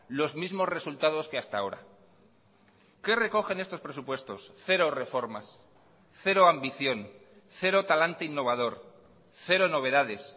los mismos resultados que hasta ahora qué recogen estos presupuestos cero reformas cero ambición cero talante innovador cero novedades